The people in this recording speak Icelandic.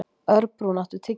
Örbrún, áttu tyggjó?